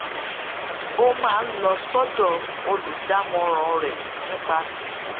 ó máa ń lọ sódò olùdámọràn rè nípa